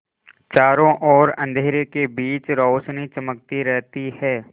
चारों ओर अंधेरे के बीच रौशनी चमकती रहती है